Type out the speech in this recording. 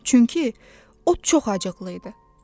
Çünki o çox acıqlı idi.